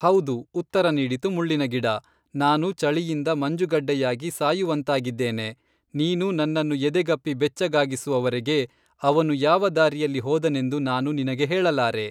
ಹೌದು, ಉತ್ತರ ನೀಡಿತು ಮುಳ್ಳಿನ ಗಿಡ; ನಾನು ಚಳಿಯಿಂದ ಮಂಜುಗಡ್ಡೆಯಾಗಿ ಸಾಯುವಂತಾಗಿದ್ದೇನೆ. ನೀನು ನನ್ನನ್ನು ಎದೆಗಪ್ಪಿ ಬೆಚ್ಚಗಾಗಿಸುವವರೆಗೆ, ಅವನು ಯಾವ ದಾರಿಯಲ್ಲಿ ಹೋದನೆಂದು ನಾನು ನಿನಗೆ ಹೇಳಲಾರೆ.”